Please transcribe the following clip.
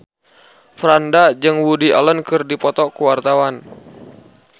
Franda jeung Woody Allen keur dipoto ku wartawan